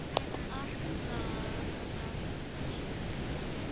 Allt var rangt.